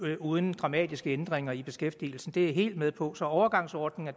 det uden dramatiske ændringer i beskæftigelsen det er jeg helt med på så overgangsordninger